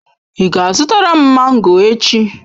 Ị ga-azụtara m mango echi?